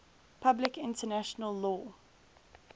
public international law